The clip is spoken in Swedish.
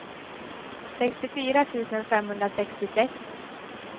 sextiofyra tusen femhundrasextiosex